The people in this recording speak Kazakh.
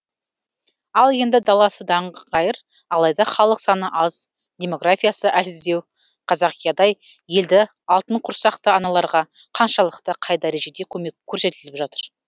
ал енді даласы даңғайыр алайда халық саны аз демографиясы әлсіздеу қазақиядай елді алтынқұрсақты аналарға қаншалықты қай дәрежеде көмек көрсетіліп жатыр